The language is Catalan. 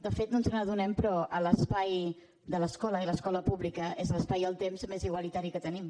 de fet no ens n’adonem però l’espai de l’escola i l’escola pública és l’espai i el temps més igualitari que tenim